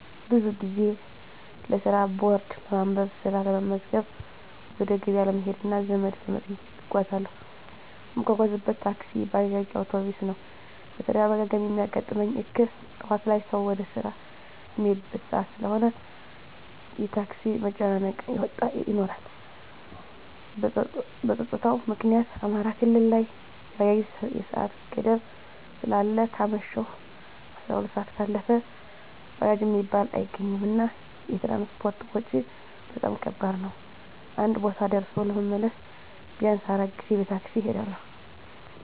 ብዙ ጊዜ ለስራ ቦርድ ለማንበብ፣ ስራ ለመመዝገብ፣ ወደ ገበያ ለመሄድ እና ዘመድ ለመጠየቅ እጓዛለሁ። እምጓጓዝበት ታክሲ፣ ባጃጅ፣ አዉቶቢስ ነዉ። በተደጋጋሚ እሚያጋጥመኝ እክል ጠዋት ላይ ሰዉ ወደ ስራ እሚሄድበት ሰአት ስለሆነ የታክሲ መጨናነቅ ይኖራል። በፀጥታዉ ምክኒያት አማራ ክልል ላይ የባጃጅ የሰአት ገደብ ስላለ ከአመሸሁ 12 ሰአት ካለፈ ባጃጅ እሚባል አይገኝም። እና የትራንስፖርት ወጭ በጣም ከባድ ነዉ አንድ ቦታ ደርሶ ለመመለስ ቢያንስ 4 ጊዜ በታክሲ እሄዳለሁ።